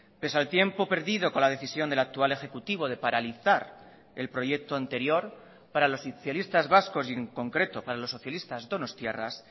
pese al tiempo perdido con la decisión del actual ejecutivo de paralizar el proyecto anterior para los socialistas vascos y en concreto para los socialistas donostiarras